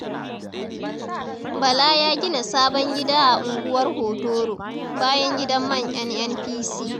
Bala ya gina sabon gida a unguwar hotoro, bayan gidan man NNPC